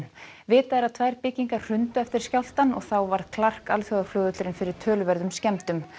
vitað er að tvær byggingar hrundu eftir skjálftann og þá varð alþjóðaflugvöllurinn fyrir töluverðum skemmdum